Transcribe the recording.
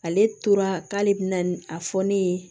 Ale tora k'ale bɛna a fɔ ne ye